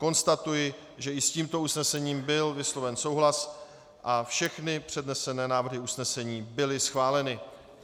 Konstatuji, že i s tímto usnesením byl vysloven souhlas a všechny přednesené návrhy usnesení byly schváleny.